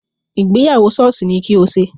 Ìgbéyàwó sọ́ọ̀sì ni kí o ṣe!